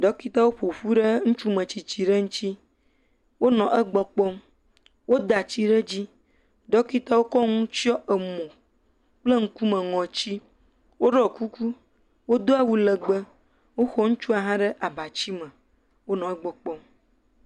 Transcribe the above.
Ɖɔkitawo ƒo ƒu ɖe ŋutsu metsitsi ɖe ŋtsi. Wonɔ egbɔ kpɔm. woda tsi ɖe edzi. ɖɔkitawo kɔ nu tsyɔ emo kple ŋkume, ŋɔtsi. Woɖɔ kuku, wodo awu lɛgbɛ. Woxɔ ŋutsua hã ɖe abatsime. Wonɔ egbɔ kpɔm.